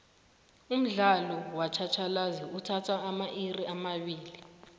umdlalo wetjhatjhalazi uthatha amairi amabili